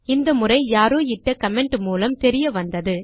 இந்த முறை யாரோ இட்ட கமெண்ட் மூலம் தெரிய வந்தது